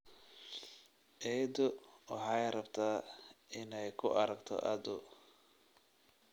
Eedo waxay rabtaa inay ku aragto aad u